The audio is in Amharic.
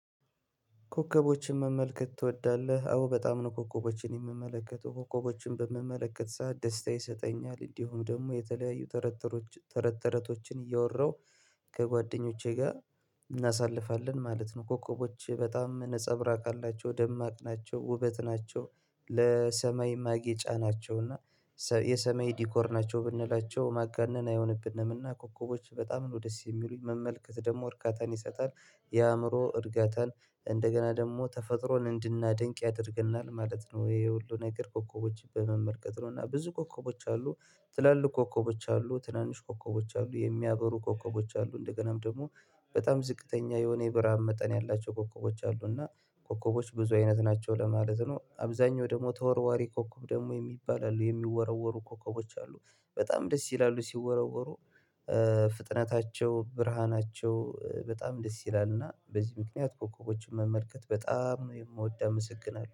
ኮከቦችን መመልከት ትወዳለህ? አዎ በጣም ነው ኮከቦችን የምመለከተው ኮከቦችን በምመለከት ሰዓት ደስታ ይሰጠኛል እንዲሁ ደግሞ የተለያዩ ተረት ተረት ተረቶችን እያወራሁ ከጓደኞቼ ጋር እናሳልፋለን ማለት ነው። ኮከቦች በጣም ነፀብራቅ አላቸው ደማቅ ናቸው ውበት ናቸው ለሰማይ ማጌጫ ናቸው እና የሰማይ ዲኮር ናቸው ብንላቸው ማጋነን አይሆንብንም። እና ኮከቦች በጣም ነው ደስ የሚሉኝ መመልከት ደግሞ እርካታን ይሰጣል። የአእምሮ እርጋታን እንደገና ደግሞ ተፈጥሮን እንድናደንቅ ያደርገናል ማለት ነው። ይሄ ሁሉ ነገር ኮከቦች በመመልከት ነው እና ብዙ ኮከቦች አሉ። ትላልቅ ኮከቦች አሉ ትናንሽ ኮከቦች አሉ የሚያበሩ ኮከቦች አሉ እንደገናም ደግሞ በጣም ዝቅተኛ የሆነ የብርሃን መጠን ያላቸው ኮከቦች አሉ። እና ኮከቦች ብዙ አይነት ናቸው ለማለት ነው አብዛኛው ደግሞ ተወርዋሪ ኮከብ ደግሞ የሚባል አሉ የሚወረወሩ ኮከቦች አሉ በጣም ደስ ይላሉ። ሲወረወሩ ፍጥነታቸው ብርሃናቸው በጣም ደስ ይላልና በዚህ ምክንያት ኮከቦችን መመልከት በጣም ነው የምወደው አመሰግናለሁ